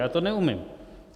Já to neumím.